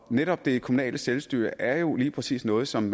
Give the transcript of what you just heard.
netop det kommunale selvstyre er jo lige præcis noget som